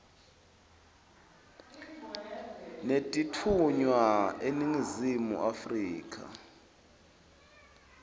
netitfunywa eningizimu afrika